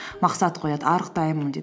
мақсат қояды арықтаймын деп